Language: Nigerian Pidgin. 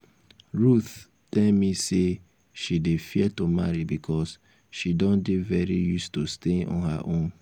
ruth tell me say she dey fear to marry because she don dey very used to staying on her own